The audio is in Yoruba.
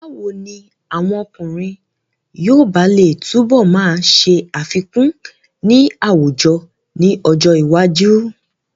Báwo ni àwọn ọkùnrin yoòbá lè túnbọ̀ máa ṣe àfikún ní àwùjọ ní ọjọ́ iwájú?